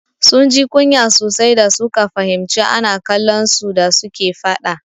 Sun ji kunya sosai da suka fahimci ana kallon su da suke faɗa.